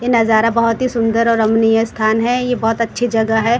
ये नजारा बहुत ही सुंदर और अमनिय स्थान है ये बहुत ही अच्छी जगह है।